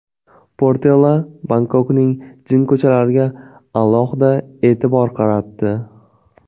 Portela Bangkokning jinko‘chalariga alohida e’tibor qaratdi.